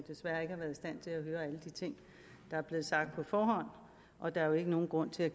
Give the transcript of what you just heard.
alle de ting der er blevet sagt på forhånd og der er jo ikke nogen grund til at